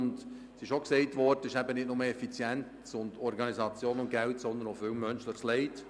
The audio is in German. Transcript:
Gesagt wurde auch, es gebe nicht nur Effizienz, Organisation und Geld, sondern auch viel menschliches Leid.